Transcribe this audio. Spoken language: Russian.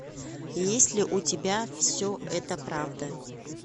есть ли у тебя все это правда